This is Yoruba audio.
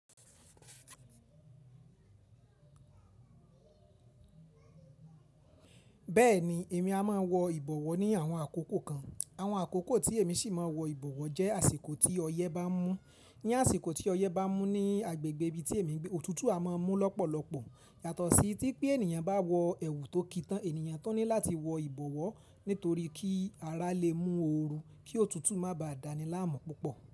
Bẹ́ẹ̀ni èmi a máa ń wọ ìbọ̀wọ́ ni àwọn àkókò kan. Àwọn àkókò tí èmi sì máa ń wọ ìbọ̀wọ́ jẹ́ àsìkò tí ọyẹ́ bá mú. Ni àsìkò tí ọyẹ́ bá mú ní agbègbè ibi tí èmi ń gbé, òtútù a máa ń mú lọ́pọ̀lọpọ̀. Yàtọ̀ sí tí pé ènìyàn bá wọ ẹwù tó kí tán, ènìyàn tó ní láti wọ ìbọ̀wọ́ nítorí kí ara le mú oorun kí òtútù má ba à dáni láàmú púpọ̀.